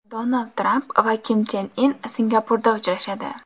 Donald Tramp va Kim Chen In Singapurda uchrashadi.